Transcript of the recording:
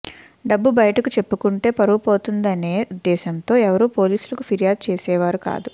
డబ్బు బయటకు చెప్పుకుంటే పరువు పోతుందనే ఉద్దేశంతో ఎవరూ పోలీసులకు ఫిర్యాదు చేసే వారు కాదు